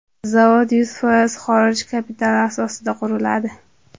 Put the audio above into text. Zavod yuz foiz xorij kapitali asosida quriladi.